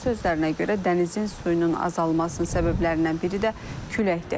Onun sözlərinə görə, dənizin suyunun azalmasının səbəblərindən biri də küləkdir.